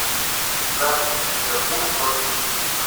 запись ливерпуль против сити